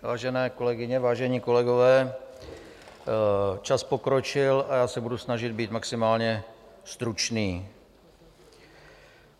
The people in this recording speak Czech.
Vážené kolegyně, vážení kolegové, čas pokročil a já se budu snažit být maximálně stručný.